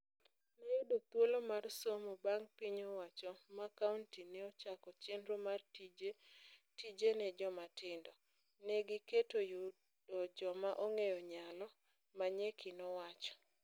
Nayudo thuolo mar somo bang' piny owacho ma kaunti neochako chenro mar tije 'tije ne jomatindo'. Ne gigeto yudo joma onge nyalo." Manyeki nowacho.